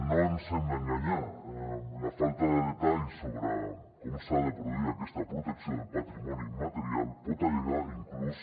no ens hem d’enganyar la falta de detall sobre com s’ha de produir aquesta protecció del patrimoni immaterial pot allargar inclús